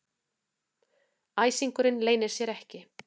Æsingurinn leynir sér ekki.